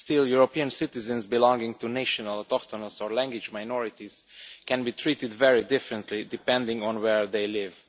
Still, European citizens belonging to national autochthonous or language minorities can be treated very differently depending on where they live.